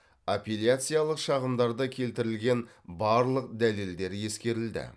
апелляциялық шағымдарда келтірілген барлық дәлелдер ескерілді